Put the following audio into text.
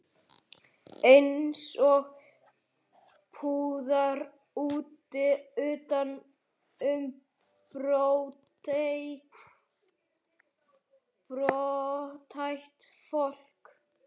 Eins og púðar utan um brothætt fólk.